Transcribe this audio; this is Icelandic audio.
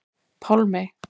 Pálmey